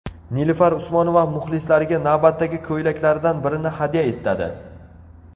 Nilufar Usmonova muxlislariga navbatdagi ko‘ylaklaridan birini hadya etadi.